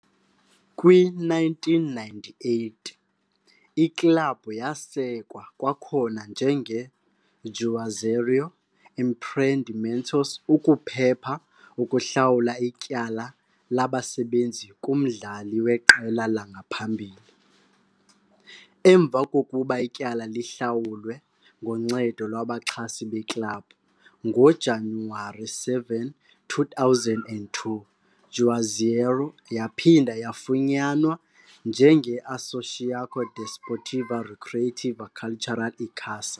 Kwi-1998, iklabhu yasekwa kwakhona njengeJuazeiro Empreendimentos ukuphepha ukuhlawula ityala labasebenzi kumdlali weqela langaphambili. Emva kokuba ityala lihlawulwe ngoncedo lwabaxhasi beklabhu, ngoJanuwari 7, 2002, Juazeiro yaphinda yafunyanwa njengeAssociação Desportiva Recreativa Cultural Icasa.